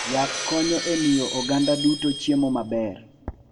Yath konyo e miyo oganda duto chiemo maber.